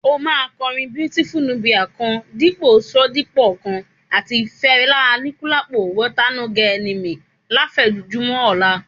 Ó máa kọrin Beautiful Nubia kan, Dípọ̀ Ṣodipọ kan, àti ti Fẹlá Aníkúlápó (water e no get enemy) láfẹ̀mọ́júmọ́ ọlá.